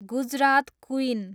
Gujarat queen